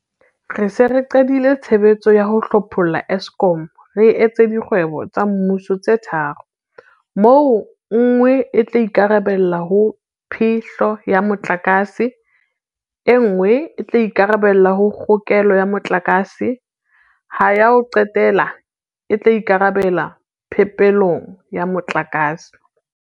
Re se re qadile tshebetso ya ho hlopholla Eskom re e etsa dikgwebo tsa mmuso tse tharo, moo e nngwe e tla ikarabella ho phe-hlo ya motlakase, e nngwe e tla ikarabella ho kgokelo ya motlakase, ha ya ho qetela e tla ikarabella phepelong ya motlakase.